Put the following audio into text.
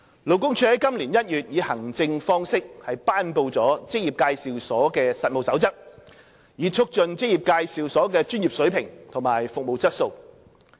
勞工處在今年1月以行政方式頒布的《職業介紹所實務守則》，以促進職業介紹所的專業水平和服務質素。